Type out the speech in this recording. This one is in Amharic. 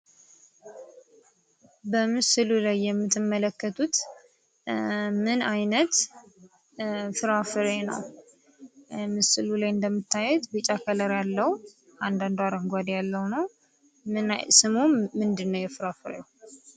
በምስሉ ላይ የምትመለከቱት ምን አይነት ፍራፍሬ ነው? ምስሉ ላይ እንደምታዩት ቢጫ ከለር አለው። አንዳንዱ አረንጓዴ ያለው ነው። ስሙ ምንድነው የፍራፍሬው?